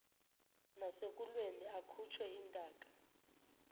nasekulweni akhutshwe intaka